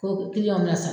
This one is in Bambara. Ko